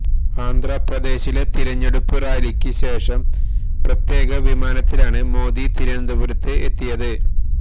ആന്ധ്രാപ്രദേശിലെ തിരഞ്ഞെടുപ്പ് റാലിക്ക് ശേഷം പ്രത്യേക വിമാനത്തിലാണ് മോഡി തിരുവനന്തപുരത്ത് എത്തിയത്